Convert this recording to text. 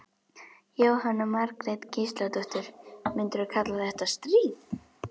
Jóhanna Margrét Gísladóttir: Myndirðu kalla þetta stríð?